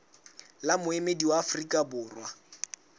le moemedi wa afrika borwa